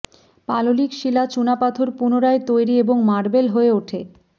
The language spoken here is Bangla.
পাললিক শিলা চুনাপাথর পুনরায় তৈরি এবং মার্বেল হয়ে ওঠে